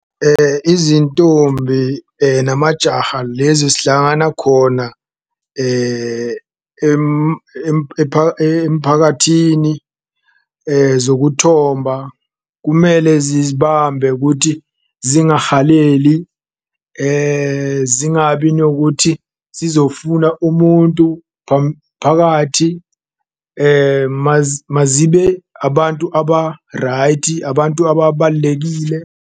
Izintombi namajaha lezi zihlangana khona emphakathini zokuthomba kumele zizibambe kuthi zingahaleli, zingabi nokuthi zizofuna umuntu phakathi. Mazibe abantu aba-right, abantu ababalulekile.